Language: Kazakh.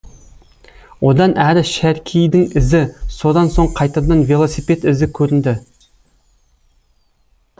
одан әрі шәркейдің ізі содан соң қайтадан велосипед ізі көрінді